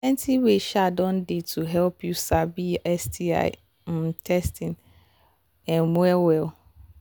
plenty way um don they to help you sabi sti um testing um well well